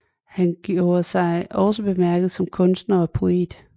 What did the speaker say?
Han gjorde sig også bemærket som kunstner og poet